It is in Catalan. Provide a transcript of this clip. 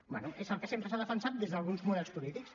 bé és el que sempre s’ha defensat des d’alguns models polítics